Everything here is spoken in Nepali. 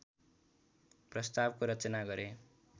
प्रस्तावको रचना गरे